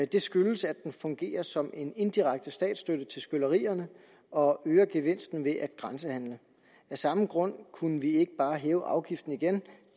det skyldes at den fungerer som en indirekte statsstøtte til skyllerierne og øger gevinsten ved at grænsehandle af samme grund kunne vi ikke bare hæve afgiften igen